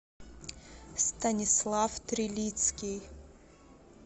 станислав трилицкий